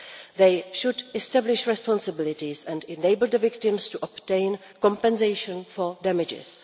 They should establish responsibilities and enable the victims to obtain compensation for damages.